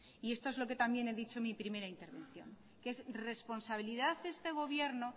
y esto es lo que también he dicho en mi primera intervención que es responsabilidad de este gobierno